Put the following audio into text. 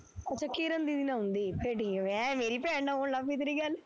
ਅੱਛਾ ਕਿਰਨ ਦੀਦੀ ਨਾਲ਼ ਹੁੰਦੀ, ਐ ਫਿਰ ਠੀਕ ਐ ਮੈਂ ਮੇਰੀ ਭੈਣ ਨਾਲ਼ ਹੋਣ ਲੱਗਪੀ ਤੇਰੀ ਗੱਲ,